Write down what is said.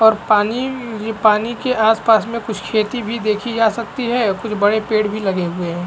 और पानी इ पानी के आस -पास में कुछ खेती भी देखी जा सकती है और कुछ बड़े पेड़ भी लगे हुए है।